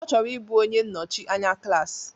Ọ chọrọ ịbụ onye nnọchi anya klaasị